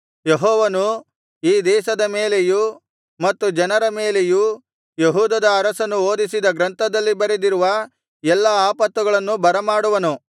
ಯೆಹೋವನು ಈ ದೇಶದ ಮೇಲೆಯೂ ಮತ್ತು ಜನರ ಮೇಲೆಯೂ ಯೆಹೂದದ ಅರಸನು ಓದಿಸಿದ ಗ್ರಂಥದಲ್ಲಿ ಬರೆದಿರುವ ಎಲ್ಲಾ ಆಪತ್ತುಗಳನ್ನು ಬರಮಾಡುವನು